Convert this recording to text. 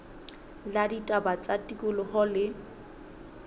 la ditaba tsa tikoloho le